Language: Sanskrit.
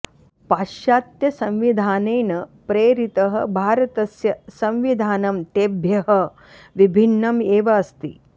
पाश्चात्त्यसंविधानेन प्रेतिरः भारतस्य संविधानं तेभ्यः विभिन्नम् एव अस्ति